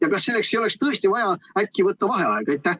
Ja kas selleks ei oleks tõesti vaja äkki võtta vaheaega?